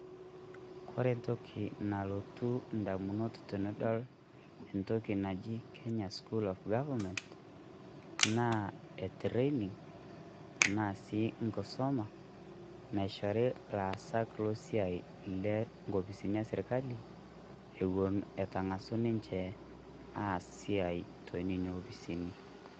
koree entoki nalotu ndamunot tenidol entoki naji kenya school of government naa etraining enaa sii enkisuma naishori laasak losiai lonkopisini esirkali etangasa inje aas esiai te nena opisini